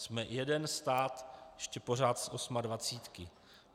Jsme jeden stát ještě pořád z osmadvacítky.